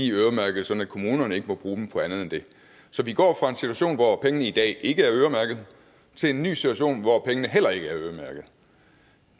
øremærket sådan at kommunerne ikke må bruge dem på andet end det så vi går fra en situation hvor pengene i dag ikke er øremærket til en ny situation hvor pengene heller ikke er øremærket